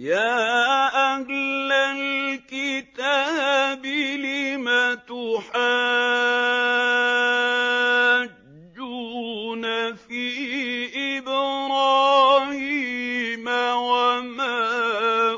يَا أَهْلَ الْكِتَابِ لِمَ تُحَاجُّونَ فِي إِبْرَاهِيمَ وَمَا